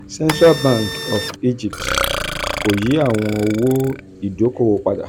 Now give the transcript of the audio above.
central bank of egypt kò yí àwọn owó ìdókòwò padà